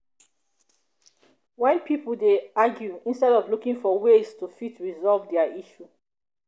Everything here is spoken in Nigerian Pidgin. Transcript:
when pipo dey argue instead of looking for ways to fit resolve their issue